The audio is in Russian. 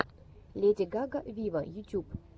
леди гага виво ютюб